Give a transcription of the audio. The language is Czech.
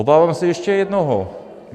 Obávám se ještě jednoho.